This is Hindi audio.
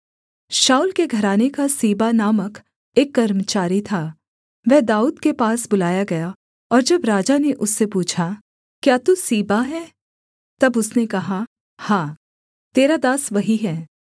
शाऊल के घराने का सीबा नामक एक कर्मचारी था वह दाऊद के पास बुलाया गया और जब राजा ने उससे पूछा क्या तू सीबा है तब उसने कहा हाँ तेरा दास वही है